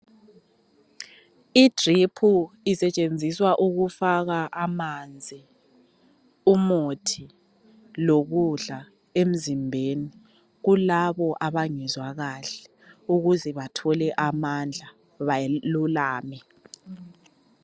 I drip isetshenziswa ukufaka amanzi umuthi lokudla emzimbeni kulabo abangezwa kahle ukuze bathole amandla balulame